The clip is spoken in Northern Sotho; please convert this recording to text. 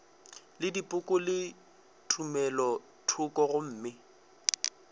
le dipoko le tumelothoko gomme